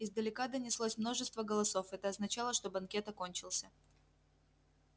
издалека донеслось множество голосов это означало что банкет окончился